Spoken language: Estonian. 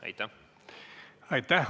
Aitäh!